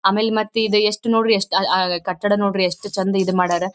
ಆಮೇಲ್ ಮತ್ ಇದ್ ಯೆಸ್ಟ್ ನೋಡ್ರಿ ಕಟ್ಟಡ ನೋಡ್ರಿ ಯೆಸ್ಟ್ ಚೆಂದ ಇದ್ ಮಡ್ಯಾರ್.